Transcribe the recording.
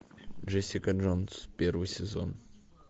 джессика джонс первый сезон